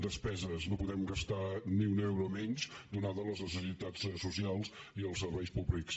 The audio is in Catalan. despeses no podem gastar ni un euro menys ateses les necessitats socials i els serveis públics